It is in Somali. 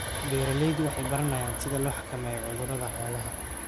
Beeraleydu waxay baranayaan sida loo xakameeyo cudurrada xoolaha.